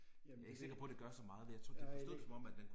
Jeg ved det ikke, nej det er ikke